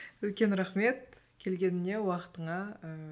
үлкен рахмет келгеніңе уақытыңа ыыы